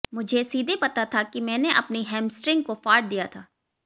मुझे सीधे पता था कि मैंने अपनी हैमस्ट्रिंग को फाड़ दिया था